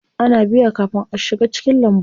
Ana biya kafin a shiga cikin lambun.